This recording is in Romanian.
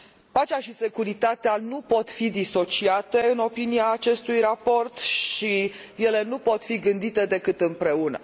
Pacea și securitatea nu pot fi disociate, în opinia acestui raport și ele nu pot fi gândite decât împreună.